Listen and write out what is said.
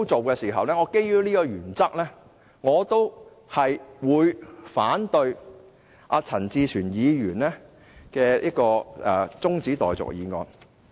基於這個原則，我反對陳志全議員的中止待續議案。